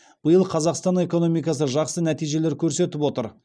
биыл қазақстан экономикасы жақсы нәтижелер көрсетіп отыр